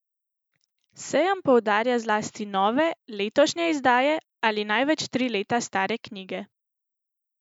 Sejem poudarja zlasti nove, letošnje izdaje, ali največ tri leta stare knjige.